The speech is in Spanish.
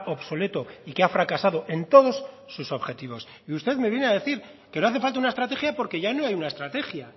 obsoleto y que ha fracasado en todos sus objetivos y usted me viene a decir que no hace falta una estrategia porque ya no hay una estrategia